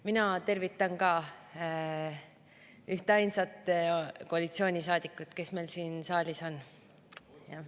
Mina tervitan ka ühtainsat koalitsioonisaadikut, kes meil siin saalis on.